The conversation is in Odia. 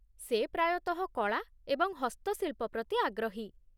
ସେ ପ୍ରାୟତଃ କଳା ଏବଂ ହସ୍ତଶିଳ୍ପ ପ୍ରତି ଆଗ୍ରହୀ।